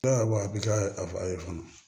Dɔw a bɛ ka a ye fɔlɔ